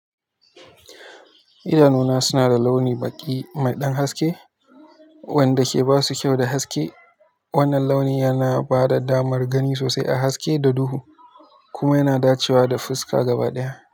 Idanuna suna da launi baƙi, mai ɗan haske, wanda ke ba su kyau da haske. Wannan launi yana ba da damar gani sosai a haske da duhu, kuma yana dacewa da fuska gaba ɗaya.